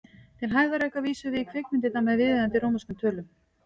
Til hægðarauka vísum við í kvikmyndirnar með viðeigandi rómverskum tölum.